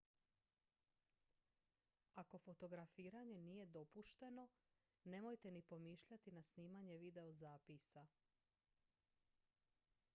ako fotografiranje nije dopušteno nemojte ni pomišljati na snimanje videozapisa